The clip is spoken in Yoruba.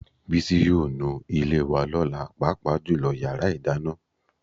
Bísí yóò nu ilé wa lọ́la, pàápàá jùlọ yàrá ìdáná